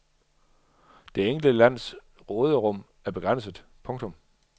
Det enkelte lands råderum er begrænset. punktum